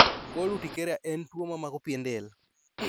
Cold urticaria en tuo mamako pien del